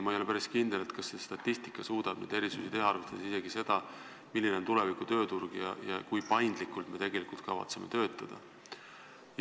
Ma ei ole päris kindel, kas statistika suudab neid erisusi arvesse võtta, arvestades seda, milline on tuleviku tööturg ja kui paindlikult me kavatseme töötada.